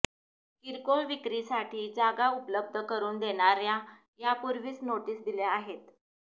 किरकोळ विक्रीसाठी जागा उपलब्ध करून देणाऱ्यांना यापूर्वीच नोटीस दिल्या आहेत